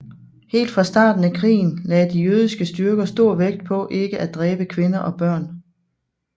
Helt fra starten af krigen lagde de jødiske styrker stor vægt på ikke at dræbe kvinder og børn